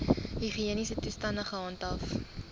higiëniese toestande gehandhaaf